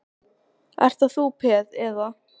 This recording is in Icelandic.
Ert þú, ert þú bara peð, eða?